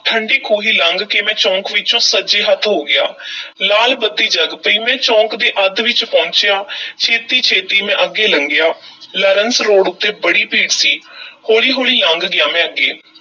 ਠੰਢੀ ਖੂਹੀ ਲੰਘ ਕੇ ਮੈਂ ਚੌਕ ਵਿੱਚੋਂ ਸੱਜ ਹੱਥ ਹੋ ਗਿਆ ਲਾਲ ਬੱਤੀ ਜਗ ਪਈ, ਮੈਂ ਚੌਕ ਦੇ ਅੱਧ ਵਿੱਚ ਪਹੁੰਚਿਆ ਛੇਤੀ-ਛੇਤੀ ਮੈਂ ਅੱਗੇ ਲੰਘਿਆ, ਲਾਰੰਸ road ਉੱਤੇ ਬੜੀ ਭੀੜ ਸੀ ਹੌਲੀ-ਹੌਲੀ ਲੰਘ ਗਿਆ ਮੈਂ ਅੱਗੇ।